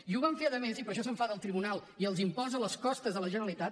i ho van fer a més i per això s’enfada el tribunal i els imposa les costes a la generalitat